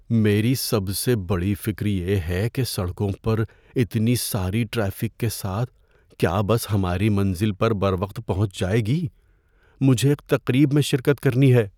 میری سب سے بڑی فکر یہ ہے کہ سڑکوں پر اتنی ساری ٹریفک کے ساتھ کیا بس ہماری منزل پر بروقت پہنچ جائے گی۔ مجھے ایک تقریب میں شرکت کرنی ہے۔